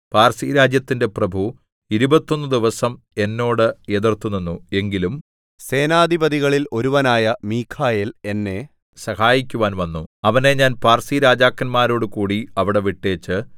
പാർസിരാജ്യത്തിന്റെ പ്രഭു ഇരുപത്തൊന്നു ദിവസം എന്നോട് എതിർത്തുനിന്നു എങ്കിലും സേനധിപതികളില്‍ ഒരുവനായ മീഖായേൽ എന്നെ സഹായിക്കുവാൻ വന്നു അവനെ ഞാൻ പാർസിരാജാക്കന്മാരോടുകൂടി അവിടെ വിട്ടേച്ച്